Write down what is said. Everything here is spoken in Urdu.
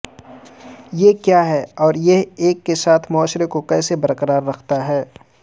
یہ کیا ہے اور یہ ایک ساتھ معاشرے کو کیسے برقرار رکھتا ہے